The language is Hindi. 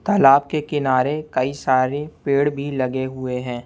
तालाब के किनारे कई सारे पेड़ भी लगे हुएं हैं।